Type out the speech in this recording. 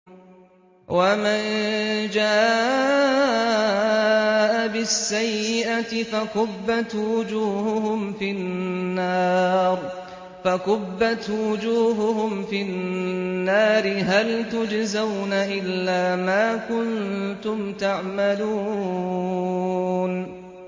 وَمَن جَاءَ بِالسَّيِّئَةِ فَكُبَّتْ وُجُوهُهُمْ فِي النَّارِ هَلْ تُجْزَوْنَ إِلَّا مَا كُنتُمْ تَعْمَلُونَ